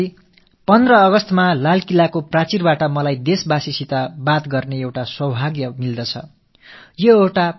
எனதருமை நாட்டுமக்களே ஆகஸ்ட் மாதம் 15ஆம் தேதி செங்கோட்டைக் கொத்தளத்திலிருந்து நாட்டு மக்களுக்கு உரையாற்றும் ஒரு நல்வாய்ப்பு எனக்கு கிடைக்கிறது